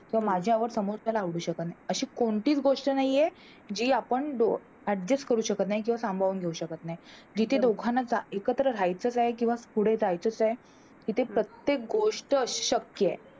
माझ्या आवड समोरच्याला आवडू शकत नाही अशी कोणतीच गोष्ट नाही हे जी आपण adjust करू शकत नाही किंवा सांभाळून घेऊ शकत नाही, जिथे दोघांना एकत्र राहायचं आहे किंवा पुढे जायायचं तिथे प्रत्येक गोष्ट अशक्य हे